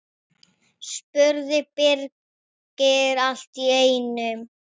spurði Birkir allt í einu.